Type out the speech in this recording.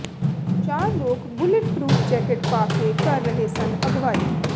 ਚਾਰ ਲੋਕ bullet proof jacket ਪਾ ਕੇ ਕਰ ਰਹੇ ਸਨ ਅਗਵਾਈ